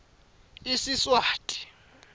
isiswati